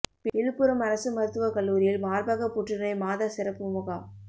விழுப்புரம் அரசு மருத்துவக் கல்லூரியில் மாா்பகப் புற்றுநோய் மாத சிறப்பு முகாம்